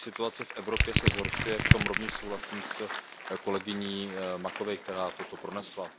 Situace v Evropě se zhoršuje, v tom rovněž souhlasím s kolegyní Macovei, která toto pronesla.